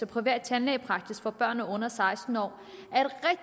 privat tandlægepraksis for børn under seksten år